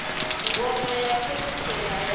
ngoma ya u fhedzisela ya